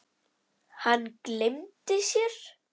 Hann gleymdi sér.